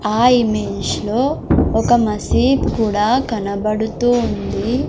ఆ ఇమేజ్ లో ఒక మసీద్ కూడా కనబడుతూ ఉంది.